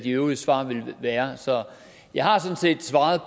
de øvrige svar ville være jeg har sådan set svaret